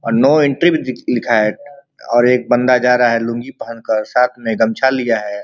और no entry भी दि लिखा है और एक बंदा जा रहा है लुंगी पहन कर साथ में गमछा लिया है।